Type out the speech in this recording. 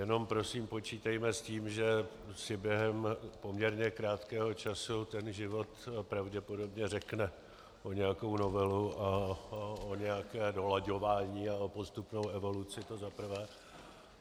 Jenom prosím počítejme s tím, že si během poměrně krátkého času ten život pravděpodobně řekne o nějakou novelu a o nějaké dolaďování a o postupnou evaluaci, to za prvé.